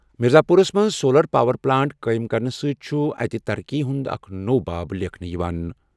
مِرزا پوٗرس منٛز solar power plant چُھ ییٚتہِ ترقی ہُنٛد اکھ نوٚو باب لیٚکھان۔